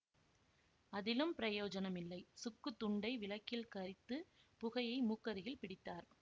அதிலும் பிரயோஜனம் இல்லை சுக்குத் துண்டை விளக்கில் கரித்துப் புகையை மூக்கருகில் பிடித்தார்